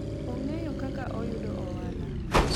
ongeyo kaka oyudo ohala